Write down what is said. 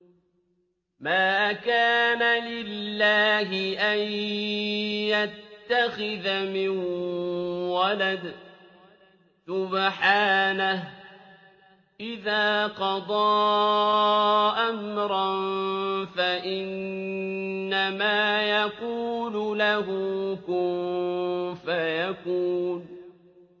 مَا كَانَ لِلَّهِ أَن يَتَّخِذَ مِن وَلَدٍ ۖ سُبْحَانَهُ ۚ إِذَا قَضَىٰ أَمْرًا فَإِنَّمَا يَقُولُ لَهُ كُن فَيَكُونُ